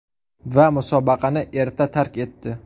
Va musobaqani erta tark etdi.